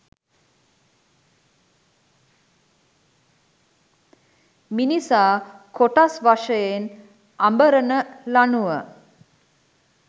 මිනිසා කොටස් වශයෙන් අඹරන ලණුව